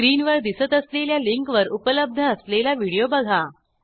स्क्रीनवर दिसत असलेल्या लिंकवर उपलब्ध असलेला व्हिडिओ बघा